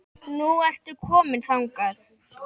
Nú ertu komin þangað.